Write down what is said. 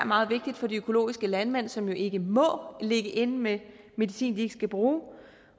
meget vigtigt for de økologiske landmænd som jo ikke må ligge inde med medicin de ikke skal bruge